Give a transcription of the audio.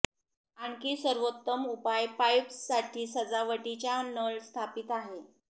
आणखी सर्वोत्तम उपाय पाईप्स साठी सजावटीच्या नळ स्थापित आहे